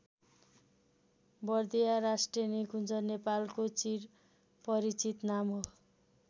बर्दिया राष्ट्रिय निकुन्ज नेपालको चिर परिचित नाम हो।